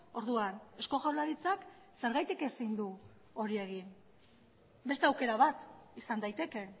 orduan eusko jaurlaritzak zergatik ezin du hori egin beste aukera bat izan daiteke